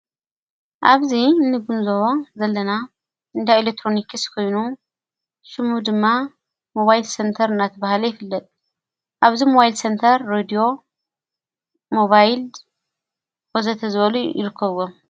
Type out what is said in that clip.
ኣብዚ እንጉንዞዋ ዘለና እንዳ ኤሌትሮኒክስ ኮይኑ ሽሙ ድማ ሞባይል ሴንተር እናቲ በሃለ ይፍለጥ ኣብዝ መዋይል ሰንተር ረድዮ ሞባይልድ ወዘተ ዝበሉ ይርከቡ።